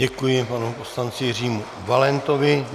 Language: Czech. Děkuji panu poslanci Jiřímu Valentovi.